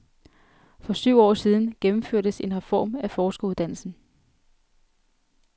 For syv år siden gennemførtes en reform af forskeruddannelsen.